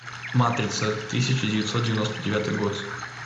матрица тысяча девятьсот девяносто девятый год